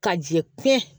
Ka jɛ pɛn